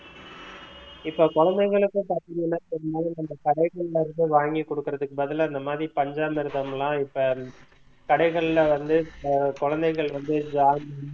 இப்ப குழந்தைங்களுக்கு பாத்தீங்கன்னா இந்த கடைகள்ல இருந்து வாங்கி குடுக்குறதுக்கு பதிலா இந்த மாதிரி பஞ்சாமிர்தம்லாம் இப்ப கடைகள்ல வந்து அஹ் குழந்தைகளுக்கு வந்து